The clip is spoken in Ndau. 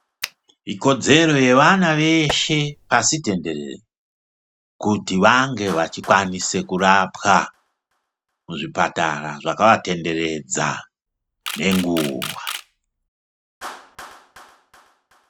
Ikodzero yevana veshe pasi tenderere. Kuti vange vachikwanis kurapwa muzvipatara zvakavatenderedza nenguva.